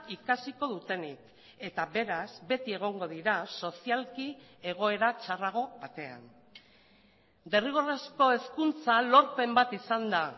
ikasiko dutenik eta beraz beti egongo dira sozialki egoera txarrago batean derrigorrezko hezkuntza lorpen bat izan da